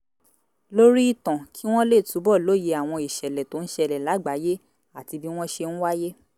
lórí ìtàn kí wọ́n lè túbọ̀ lóye àwọn ìṣẹ̀lẹ̀ tó ń ṣẹlẹ̀ lágbàáyé àti bí wọ́n ṣe ń wáyé